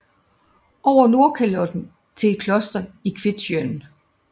Over Nordkalotte til et kloster i Kvitsjøen